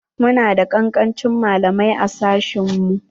Mu na da kankancin malamai a sashen mu.